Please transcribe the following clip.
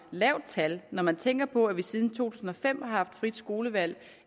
lavt tal når man tænker på at vi siden to tusind og fem har haft frit skolevalg